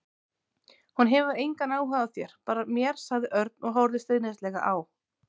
Hún hefur engan áhuga á þér, bara mér sagði Örn og horfði stríðnislega á